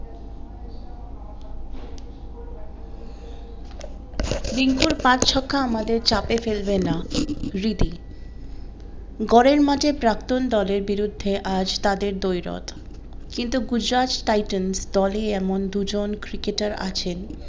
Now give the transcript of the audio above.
রিঙ্কুর পাঁচ ছক্কা আমাদের চাপে ফেলবে না রিধি ঘরের মাঠে প্রাক্তন দলের বিরুদ্ধে আজ তাদের দৈরত কিন্তু গুজরাট টাইটান্স দলে এমন দুজন ক্রিকেটার আছেন